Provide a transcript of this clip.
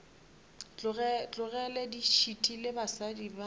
tlogele di šitile basadi ba